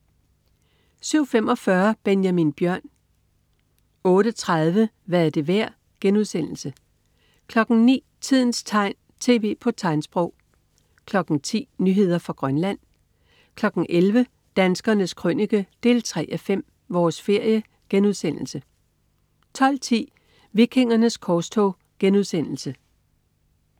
07.45 Benjamin Bjørn 08.30 Hvad er det værd?* 09.00 Tidens tegn, tv på tegnsprog 10.00 Nyheder fra Grønland 11.00 Danskernes Krønike 3:5. Vores ferie* 12.10 Vikingernes korstog*